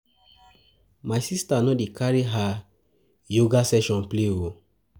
My sista no dey carry her yoga session play o.